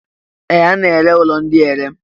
Ee! A na-ere ụlọ ndị a ere.